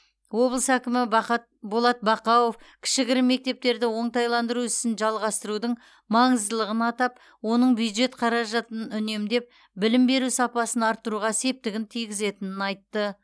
облыс әкімі бақат болат бақауов кішігірім мектептерді оңтайландыру ісін жалғастырудың маңыздылығын атап оның бюджет қаражатын үнемдеп білім беру сапасын арттыруға септігін тигізетінін айтты